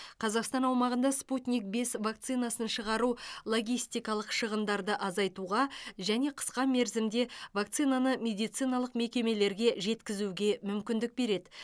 қазақстан аумағында спутник бес вакцинасын шығару логистикалық шығындарды азайтуға және қысқа мерзімде вакцинаны медициналық мекемелерге жеткізуге мүмкіндік береді